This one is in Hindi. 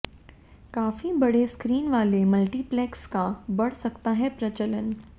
काफी बड़े स्क्रीन वाले मल्टीप्लेक्स का बढ़ सकता है प्रचलन